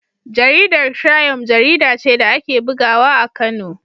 Jaridar Triump jarida ce da ake bugawa a Kano.